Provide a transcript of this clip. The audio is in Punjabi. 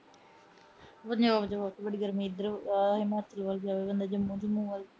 ਵਧੀਆ-ਵਧੀਆ। ਇਧਰ ਬੜੀ ਗਰਮੀ ਆ। ਹਿਮਾਚਲ ਵੱਲ ਜਾਏ, ਬੰਦਾ ਜੰਮੂ ਜੂਮੂ ਵੱਲ ਜਾਏ।